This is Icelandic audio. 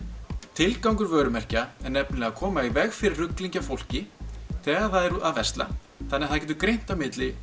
tilgangur vörumerkja er nefnilega að koma í veg fyrir rugling hjá fólki þegar það er að versla þannig að það getur greint á milli